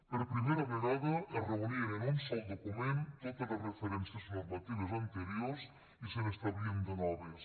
per primera vegada es reunien en un sol document totes les referències normatives anteriors i se n’establien de noves